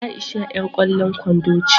Aisha yar kwallon kwando ce.